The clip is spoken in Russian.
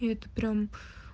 и это прямо